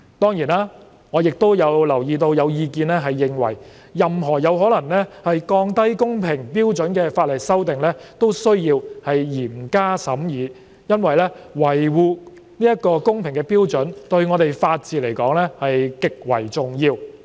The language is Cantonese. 當然，我亦留意到有意見認為任何有可能降低公平標準的法例修訂都需要嚴加審議，因為維護公平的標準對法治而言極為重要。